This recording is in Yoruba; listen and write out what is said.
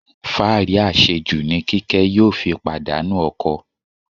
Fáàrí àṣejù ni Kíkẹ́ yóò fi pàdánù ọkọ.